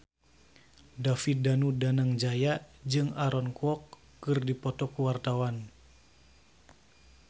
David Danu Danangjaya jeung Aaron Kwok keur dipoto ku wartawan